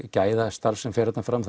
gæðastarf sem fer þarna fram